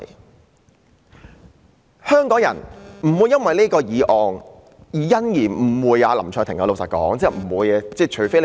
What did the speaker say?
老實說，香港人是不會因為這項議案而誤會林卓廷議員的。